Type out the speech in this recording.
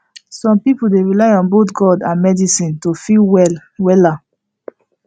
some people dey rely on both god and medicine to feel well wella